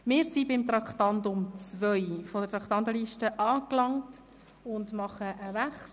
Wir sind beim Traktandum 2 angelangt und nehmen einen Wechsel vor.